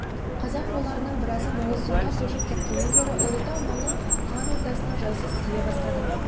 қазақ руларының біразы моғолстанға көшіп кеткеннен бері ұлытау маңы хан ордасына жайсыз тие бастады